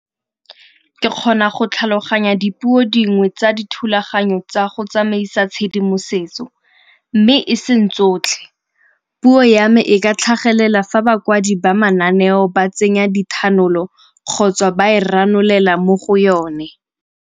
Ke kgona go tlhaloganya dipuo dingwe tsa dithulaganyo tsa go tsamaisa tshedimosetso, mme e seng tsotlhe. Puo ya me e ka tlhagelela fa bakwadi ba mananeo ba tsenya dithanolo kgotsa ba e ranolela mo go yone.